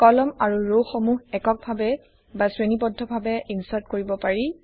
কলম আৰু ৰ সমূহ একক ভাবে বা শ্ৰেণীবদ্ধভাবে ইনচাৰ্ট কৰিব পাৰি